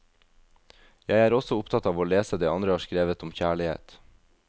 Jeg er også opptatt av å lese det andre har skrevet om kjærlighet.